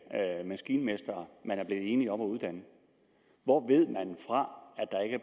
maskinmestre man er blevet enige om at uddanne hvor ved man fra